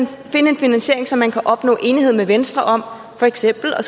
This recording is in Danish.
finde en finansiering som man kan opnå enighed med venstre om for eksempel at